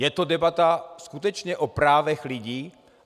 Je to debata skutečně o právech lidí.